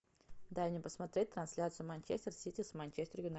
дай мне посмотреть трансляцию манчестер сити с манчестер юнайтед